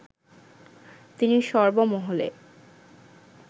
তিনি সর্বমহলে